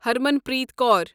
ہرمنپریت کوٗر